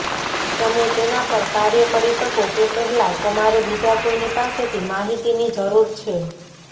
તમે તેના પર કાર્ય કરી શકો તે પહેલાં તમારે બીજા કોઈની પાસેથી માહિતીની જરૂર છે